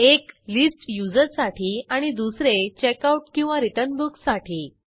एक list users साठी आणि दुसरे checkoutरिटर्न बुक साठी